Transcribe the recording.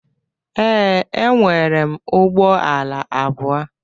Ee, enwerem ụgbọ ala abụọ.